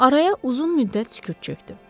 Araya uzun müddət sükut çökdü.